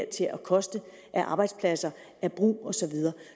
til at koste af arbejdspladser af brug og så videre